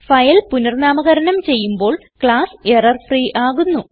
file പുനർനാമകരണം ചെയ്യുമ്പോൾ class error free ആകുന്നു